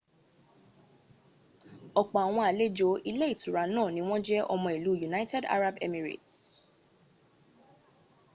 opo awon alejo ile itura naa ni won je omo ilu united arab emirate